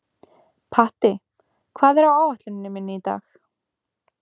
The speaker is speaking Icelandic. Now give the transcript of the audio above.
Patti, hvað er á áætluninni minni í dag?